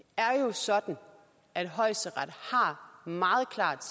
er jo sådan at højesteret meget klart